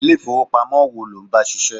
Ilé ifowopamo wo lo ń bá ṣiṣẹ́?